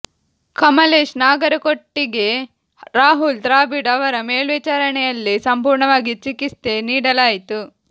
ಕಮಲೇಶ್ ನಾಗರಕೋಟಿಗೆ ರಾಹುಲ್ ದ್ರಾವಿಡ್ ಅವರ ಮೇಲ್ವಿಚಾರಣೆಯಲ್ಲಿ ಸಂಪೂರ್ಣವಾಗಿ ಚಿಕಿತ್ಸೆ ನೀಡಲಾಯಿತು